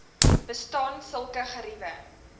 bestaan sulke geriewe